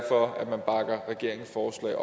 at